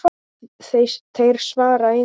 Þeir svara engu.